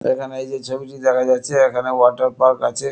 এখানে এইযে ছবিটি দেখা যাচ্ছে এখানে ওয়াটার পার্ক আছে।